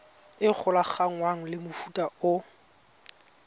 e golaganngwang le mofuta o